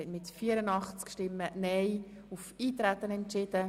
Sie haben diesen Nichteintretensantrag abgelehnt.